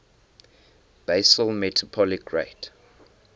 basal metabolic rate